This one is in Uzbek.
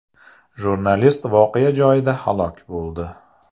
Jurnalist voqea joyida halok bo‘ldi.